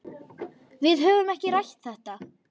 Við höfum ekki rætt þetta.